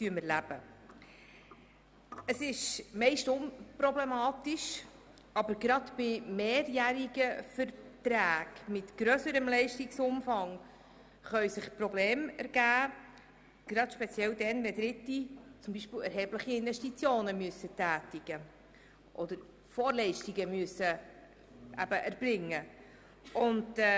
Meist ist das unproblematisch, aber gerade bei mehrjährigen Verträgen mit einem grösseren Leistungsumfang können sich speziell dann Probleme ergeben, wenn Dritte erhebliche Investitionen tätigen oder Vorleistungen erbringen müssen.